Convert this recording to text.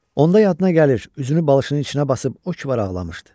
Onda yadına gəlir, üzünü balışının içinə basıb o ki var ağlamışdı.